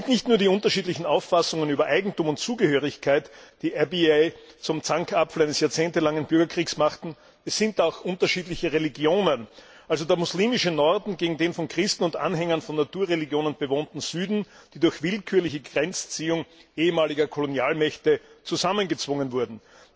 Es sind nicht nur die unterschiedlichen Auffassungen über Eigentum und Zugehörigkeit, die Abyei zum Zankapfel eines jahrzehntelangen Bürgerkriegs machten, es sind auch unterschiedliche Religionen, also der moslemische Norden gegen den von Christen und Anhängern von Naturreligionen bewohnten Süden, die durch willkürliche Grenzziehung ehemaliger Kolonialmächte zusammengezwungen wurden.